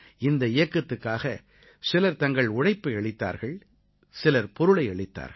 இந்த இயக்கத்துக்காக சிலர் தங்கள் உழைப்பை அளித்தார்கள் சிலர் பொருளை அளித்தார்கள்